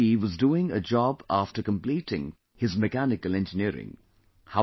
Ramveer ji was doing a job after completing his mechanical engineering